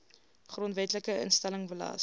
grondwetlike instelling belas